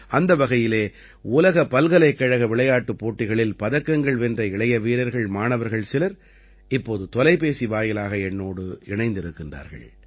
அந்த வகையிலே உலக பல்கலைக்கழக விளையாட்டுப் போட்டிகளில் பதக்கங்கள் வென்ற இளைய வீரர்கள் மாணவர்கள் சிலர் இப்போது தொலைபேசி வாயிலாக என்னோடு இணைந்திருக்கிறார்கள்